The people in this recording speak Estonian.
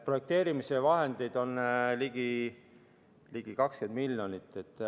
Projekteerimise vahendeid on ligi 20 miljonit.